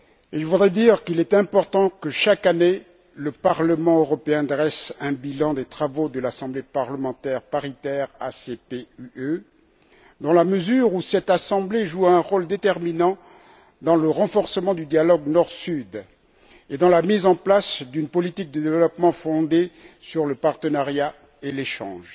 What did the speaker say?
Il est important que chaque année le Parlement européen dresse un bilan des travaux de l'Assemblée parlementaire paritaire ACP UE, dans la mesure où cette Assemblée joue un rôle déterminant dans le renforcement du dialogue Nord Sud et dans la mise en place d'une politique de développement fondée sur le partenariat et l'échange.